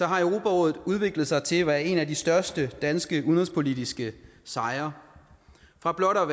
har europarådet udviklet sig til at være en af de største danske udenrigspolitiske sejre fra blot at